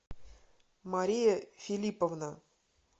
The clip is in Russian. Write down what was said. мария филипповна